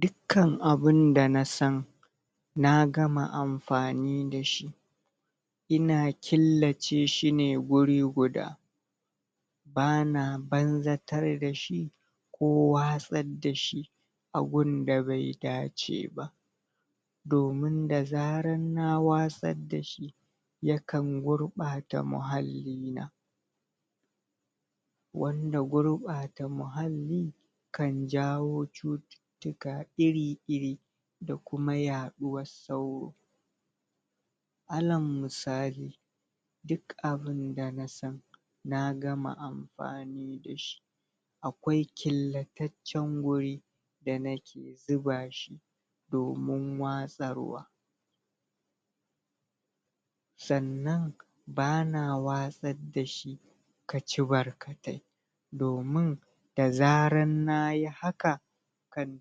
Dukkan abunda nasan Na gama amfani da shi Ina killace shine guri guda Bana banzatar da shi Ko watsar da shi A gunda bai dace ba Domin da zarar na watsar dashi yakan gurɓata muhalli na Wanda gurɓata muhalli Kan jawo cuttutuka iri iri da kuma yaɗuwas sauro Alal musali Duk abunda na san na gama amfani dashi Akwai killataccen wuri Da nake zuba shi Domun watsarwa Sannan ba na watsar dashi Kaci barkatai Domun da zaran nayi haka Kan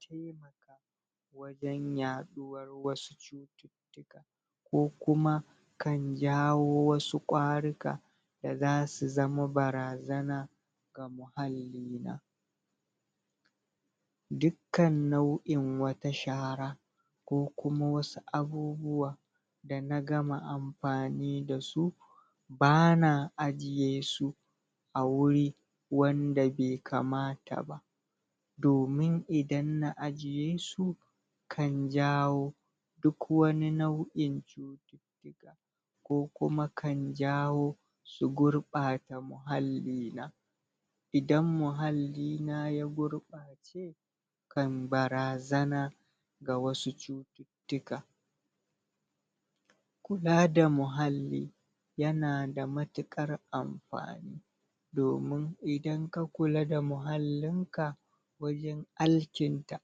taimaka Wajen yaɗuwar wasu cuttutuka Ko kuma Kan jawo wasu kwaruka Da zasu zama barazana ga muhalli na. Dukkan nau'in wata shara, Ko kuma wasu abubuwa da na gama amfani dasu Bana ajiye su a wuri wanda be kamata ba domin idan na ajiye su kan jawo Duk wani nau'in cuttutuka Ko kuma kan jawo su Gurɓata muhalli na. Idan muhalli na ya gurɓace Kan barazana Ga wasu cuttutuka Kula da muhalli Yana da matuƙar amfani Domun idan ka kula da muhallin ka Wajen alkinta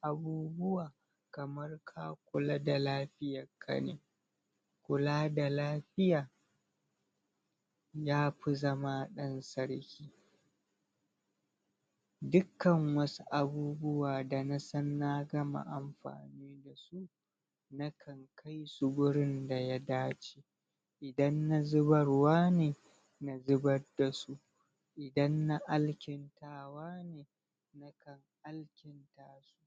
abubuwa Kamar ka kula da lafiyakka ne. Kula da lafiya Ya fi zama ɗan sarki Dukkan wasu abubuwa da na san na gama amfani dasu Na kan kai su wurin da yadace Idan na zubarwa ne, Na zubad dasu Idan na alkintawa ne na ka alkinta su.